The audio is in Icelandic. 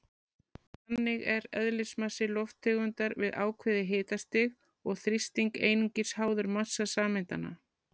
Þannig er eðlismassi lofttegundar við ákveðið hitastig og þrýsting einungis háður massa sameindanna.